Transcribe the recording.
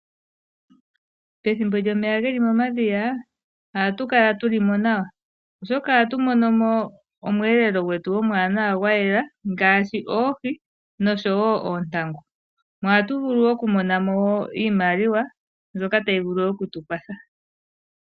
Pethimbo lyomeya geli momadhiya, ohatu kala tuli mo nawa, oshoka ohatu mono mo omweelelo gwetu omwaanawa gwa yela ngaashi oohi noshowo oontangu. Ohatu vulu okumona mo iimailwa, mbyoka tayi vulu okutu kwatha.